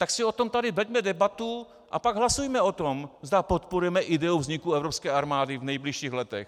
Tak si o tom tady veďme debatu a pak hlasujme o tom, zda podporujeme ideu vzniku evropské armády v nejbližších letech.